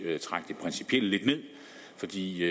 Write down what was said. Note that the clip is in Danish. principielle lidt ned fordi det